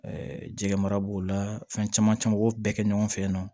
Ɛɛ jɛgɛ mara b'o la fɛn caman caman b'o bɛɛ kɛ ɲɔgɔn fɛ yen nɔ